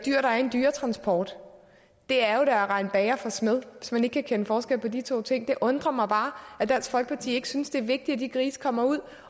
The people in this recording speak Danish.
dyr der er i en dyretransport det er jo da at rette bager for smed hvis man ikke kan kende forskel på de to ting det undrer mig bare at dansk folkeparti ikke synes det er vigtigt at de grise kommer ud